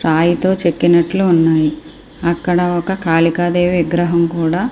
రాయితో చెక్కినట్లు ఉన్నాయి అక్కడ ఒక కాళికాదేవి విగ్రహం కూడా.